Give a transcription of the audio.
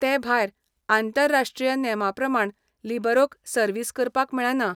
ते भायर, आंतरराष्ट्रीय नेमां प्रमाण लिबरोक सर्व्हिस करपाक मेळना.